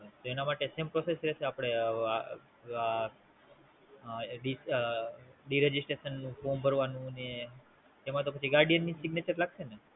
તેના માટે Same process રહેશે? આ ડીસ Disregistration નું ફોર્મ ભરવાનું ને એમાં પછી Guardian ની Signature લાગશે ને?